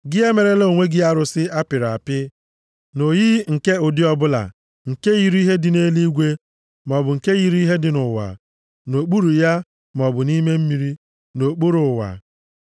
Gị emerela onwe gị arụsị a pịrị apị, nʼoyiyi nke ụdị ọbụla nke yiri ihe dị nʼeluigwe maọbụ nke yiri ihe dị nʼụwa, nʼokpuru ya maọbụ nʼime mmiri, nʼokpuru ụwa.